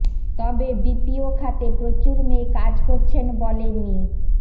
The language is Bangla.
তবে বিপিও খাতে প্রচুর মেয়ে কাজ করছেন বলে মি